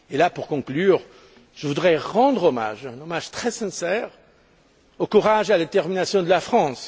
Pour conclure, je voudrais rendre un hommage très sincère au courage et à la détermination de la France.